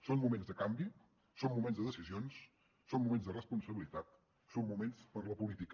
són moments de canvi són moments de decisions són moments de responsabilitat són moments per a la política